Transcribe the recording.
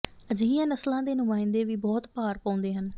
ਅਜਿਹੀਆਂ ਨਸਲਾਂ ਦੇ ਨੁਮਾਇੰਦੇ ਵੀ ਬਹੁਤ ਭਾਰ ਪਾਉਂਦੇ ਹਨ